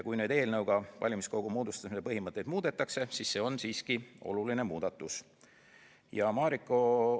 Kui valimiskogu moodustamise põhimõtteid muudetakse, siis on tegemist siiski olulise muudatusega.